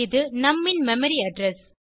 இது நும் ன் மெமரி அட்ரெஸ்